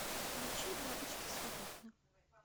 включи бабочки свободны